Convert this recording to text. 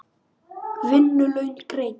Vinnu laun greidd.